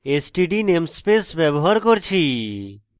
std namespace ব্যবহার করছি